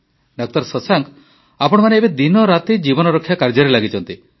ଡା ଶଶାଙ୍କ ଆପଣମାନେ ଏବେ ଦିନରାତି ଜୀବନରକ୍ଷା କାର୍ଯ୍ୟରେ ଲାଗିଛନ୍ତି